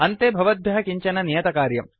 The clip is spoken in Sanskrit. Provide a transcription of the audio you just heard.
अन्ते भवद्भ्यः किञ्चन नियतकार्यम्